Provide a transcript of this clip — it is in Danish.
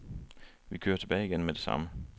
Vi kører tilbage igen med det samme.